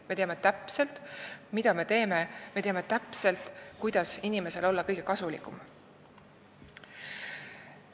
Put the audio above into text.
Me teame täpselt, mida me teeme, ja me teame, kuidas olla inimesele kõige kasulikum.